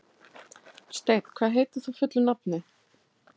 Steinn, hvað heitir þú fullu nafni?